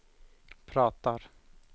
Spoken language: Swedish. pratar